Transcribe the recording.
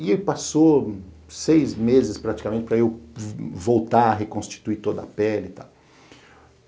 E aí passou seis meses, praticamente, para eu voltar a reconstituir toda a pele e tal.